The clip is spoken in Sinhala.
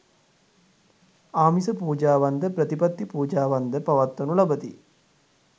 ආමිස පූජාවන්ද ප්‍රතිපත්ති පූජාවන්ද පවත්වනු ලබති.